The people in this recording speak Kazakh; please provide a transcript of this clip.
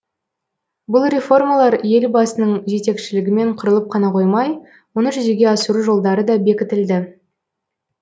бұл реформалар елбасының жетекшілігімен құрылып қана қоймай оны жүзеге асыру жолдары да бекітілді